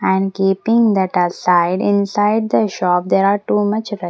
And keeping that aside inside the shop there are too much res --